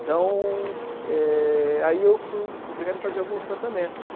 Então, é aí eu fui obrigado a fazer alguns tratamentos.